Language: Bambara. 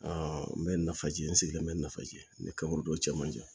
n bɛ nafaji n sigilen bɛ nafa ji n bɛ ka don cɛ man jan